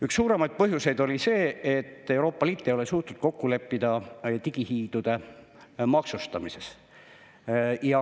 Üks suuremaid põhjuseid oli see, et Euroopa Liit ei ole suutnud kokku leppida digihiidude maksustamises.